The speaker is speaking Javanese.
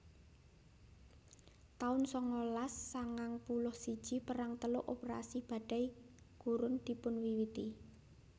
taun sangalas sangang puluh siji Perang Teluk Operasi Badai Gurun dipunwiwiti